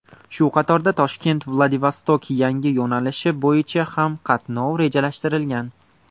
Shu qatorda ToshkentVladivostok yangi yo‘nalishi bo‘yicha ham qatnov rejalashtirilgan.